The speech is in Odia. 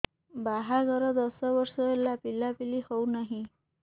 ବାହାଘର ଦଶ ବର୍ଷ ହେଲା ପିଲାପିଲି ହଉନାହି